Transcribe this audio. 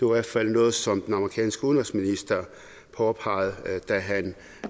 hvert fald noget som den amerikanske udenrigsminister påpegede da han